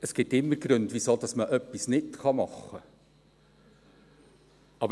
Es gibt immer Gründe, wieso man etwas nicht machen kann.